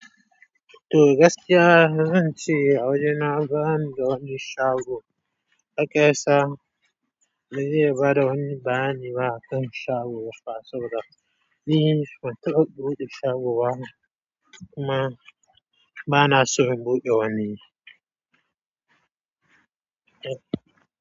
To gaskiya, zan ce a wajena ba wani don shago. Hakasa, me yi bara wani ba ni ba akan shago ba fa saboda. Ni ban taɓa buɗe shago ba kuma ba na so in buɗe wani.